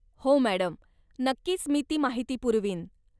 हो मॅडम, नक्कीच मी ती माहिती पुरवीन.